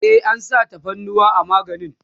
e an sa tafarnuwa a maganin